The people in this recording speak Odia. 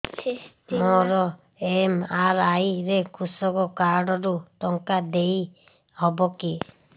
ମୋର ଏମ.ଆର.ଆଇ ରେ କୃଷକ କାର୍ଡ ରୁ ଟଙ୍କା ଦେଇ ହବ କି